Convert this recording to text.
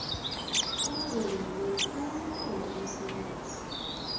abazakunikelwa abanikelwe umsebenzi